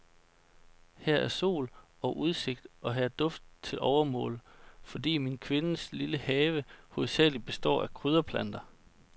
Her er sol og udsigt, og her er duft til overmål, fordi min kvindes lille have hovedsagelig består af krydderplanter.